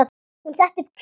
Hún setti upp kryppu.